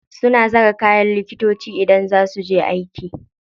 Suna saka kayan likitoci idan za su je aiki.